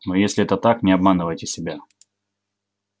но если это так не обманывайте себя